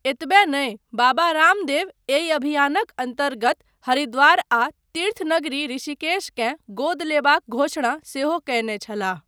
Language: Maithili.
एतबे नहि बाबा रामदेव एहि अभियानक अन्तर्गत हरिद्वार आ तीर्थ नगरी ऋषिकेश केँ गोद लेबाक घोषणा सेहो कयने छलाह।